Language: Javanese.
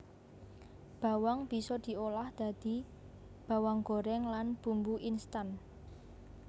Bawang bisa diolah dadi bawang gorèng lan bumbu instan